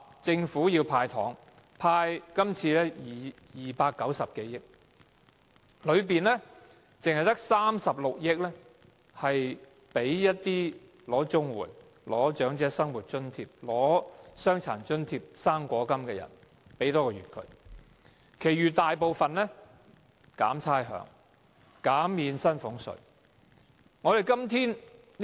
政府說要"派糖"，今年派290多億元，當中只有36億元用作派發多1個月的綜合社會保障援助、長者生活津貼、傷殘津貼和"生果金"，其餘大部分用來寬免差餉、減免薪俸稅。